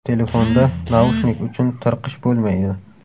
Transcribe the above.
Telefonda naushnik uchun tirqish bo‘lmaydi.